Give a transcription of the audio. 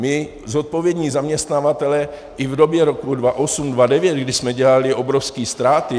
My zodpovědní zaměstnavatelé i v době roku 2008-2009, kdy jsme dělali obrovské ztráty...